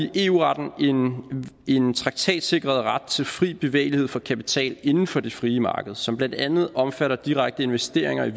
i eu retten en traktatsikret ret til fri bevægelighed for kapital inden for det frie marked som blandt andet omfatter direkte investeringer i